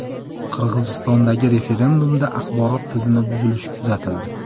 Qirg‘izistondagi referendumda axborot tizimi buzilishi kuzatildi.